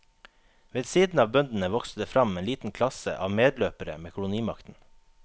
Ved siden av bøndene vokste det fram en liten klasse av medløpere med kolonimakten.